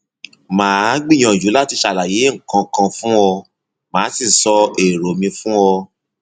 màá gbìyànjú láti ṣàlàyé nǹkan kan fún ọ màá sì sọ èrò mi fún ọ